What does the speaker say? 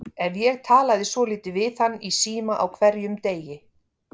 Ef ég talaði svolítið við hann í síma á hverjum degi.